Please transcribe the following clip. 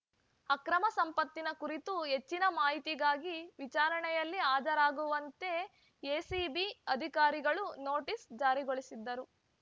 ಅಕ್ರಮ ಸಂಪತ್ತಿನ ಕುರಿತು ಹೆಚ್ಚಿನ ಮಾಹಿತಿಗಾಗಿ ವಿಚಾರಣೆಯಲ್ಲಿ ಹಾಜರಾಗುವಂತೆ ಎಸಿಬಿ ಅಧಿಕಾರಿಗಳು ನೊಟೀಸ್‌ ಜಾರಿಗೊಳಿಸಿದ್ದರು